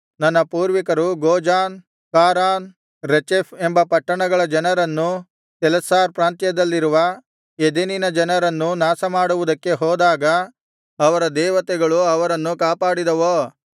ನನ್ನ ಪೂರ್ವಿಕರು Gozan Haran Rezeph ಎಂಬ ಪಟ್ಟಣಗಳ ಜನರನ್ನೂ ತೆಲಸ್ಸಾರ್ ಪ್ರಾಂತ್ಯದಲ್ಲಿರುವ ಎದೆನಿನ ಜನರನ್ನೂ ನಾಶಮಾಡುವುದಕ್ಕೆ ಹೋದಾಗ ಅವರ ದೇವತೆಗಳು ಅವರನ್ನು ಕಾಪಾಡಿದವೋ